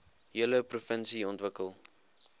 hele provinsie ontwikkel